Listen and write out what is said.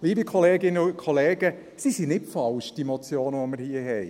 Liebe Kolleginnen und Kollegen, die Motionen, die wir hier haben, sind nicht falsch.